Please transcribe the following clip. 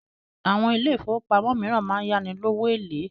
Àwọn ilé ifówópamọ́ míràn ń yá ni lówó eléèlé